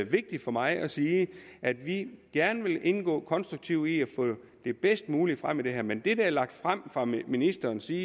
vigtigt for mig at sige at vi gerne vil indgå konstruktivt i at få det bedst mulige frem i det her men det der er lagt frem fra ministerens side